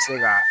Se ka